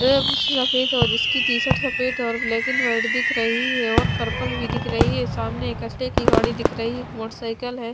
सफेद हो जिसकी टी-शर्ट सफेद और ब्लैक एंड व्हाइट दिख रही है और पर्पल भी दिख रही है सामने एक कचरे की गाड़ी दिख रही मोटरसाइकल है।